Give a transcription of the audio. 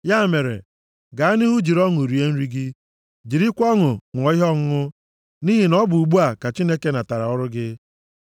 Ya mere, gaa nʼihu, jiri ọṅụ rie nri gị, jirikwa ọṅụ ṅụọ ihe ọṅụṅụ nʼihi na ọ bụ ugbu a ka Chineke nabatara ọrụ gị.